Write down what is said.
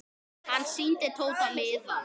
Hann sýndi Tóta miðann.